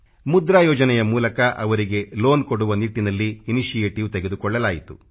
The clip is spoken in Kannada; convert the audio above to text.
ಮುದ್ರಾ ಯೋಜನೆಯ ಮೂಲಕ ಅವರಿಗೆ ಲೋನ್ ಕೊಡುವ ನಿಟ್ಟಿನಲ್ಲಿ ಇನಿಶಿಯೇಟಿವ್ ತೆಗೆದುಕೊಳ್ಳಲಾಯಿತು